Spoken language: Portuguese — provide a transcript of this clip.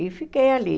E fiquei ali.